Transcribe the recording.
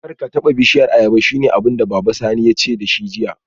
Karka taba bishiyar ayaba shine abinda baban Sani yace dashi jiya